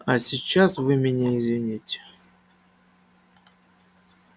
а сейчас вы меня извините